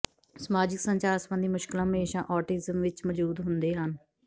ਸਮਾਜਿਕ ਸੰਚਾਰ ਸੰਬੰਧੀ ਮੁਸ਼ਕਲਾਂ ਹਮੇਸ਼ਾਂ ਔਟਿਜ਼ਮ ਵਿੱਚ ਮੌਜੂਦ ਹੁੰਦੇ ਹਨ